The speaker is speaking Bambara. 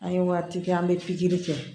An ye waati kɛ an bɛ pikiri kɛ